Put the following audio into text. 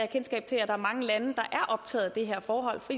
kendskab til at der er mange lande der er optaget af det her forhold for